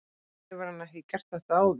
Hefur hann ekki gert þetta áður?